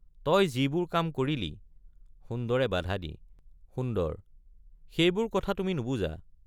তই যিবোৰ কাম কৰিলি— সুন্দৰে বাধা দি সুন্দৰ—সেইবোৰ কথা তুমি নুবুজা।